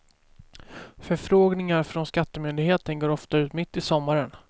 Förfrågningar från skattemyndigheten går ofta ut mitt i sommaren.